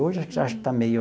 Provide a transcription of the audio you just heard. Hoje acho que está meio...